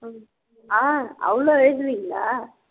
ஆஹ் அவ்ளோ எழுதுவீங்களா